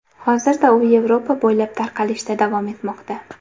Hozirda u Yevropa bo‘ylab tarqalishda davom etmoqda .